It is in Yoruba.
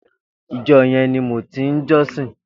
Ijò yèn ni mó ti n jòsín